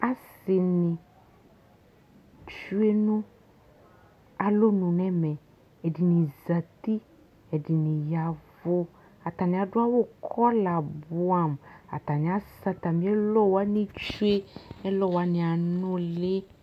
ase ni tsue no alɔnu n'ɛmɛ ɛdini zati ɛdini yavu atani ado awu kɔla boɛ amo atani asɛ atami ɛlɔ wani tsue ɛlɔ wani anuli